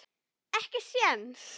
Ekki séns.